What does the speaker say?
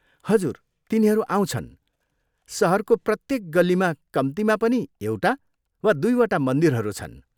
हजुर, तिनीहरू आउँछन्। सहरको प्रत्येक गल्लीमा कम्तीमा पनि एउटा वा दुईवटा मन्दिरहरू छन्।